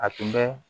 A tun bɛ